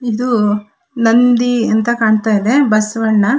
ಇದು ನಂದಿ ಅಂತ ಕಾಣತ್ತಾ ಇದೆ ಬಸವಣ್ಣ.